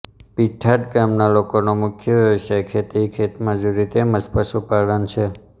પીઠાદ ગામના લોકોનો મુખ્ય વ્યવસાય ખેતી ખેતમજૂરી તેમ જ પશુપાલન છે